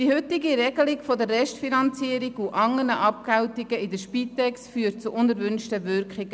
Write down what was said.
Die heutige Regelung der Restfinanzierung und andere Abgeltungen in der Spitex führen zu unerwünschten Wirkungen.